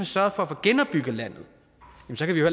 sørget for at få genopbygget landet